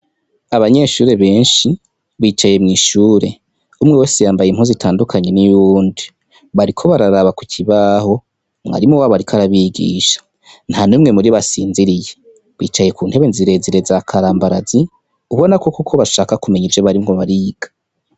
Abanyeshure benshi bicaye mw'ishure, umwe wese yambaye impuzu itandukanye niy'uwundi, bariko bararaba ku kibaho, mwarimu wabo ariko arabigisha, ntanumwe muribo asinziriye, bicaye kuntebe zirezire za karambarazi, ubona koko bashaka kumenya ivyo bariko bariga.